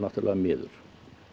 miður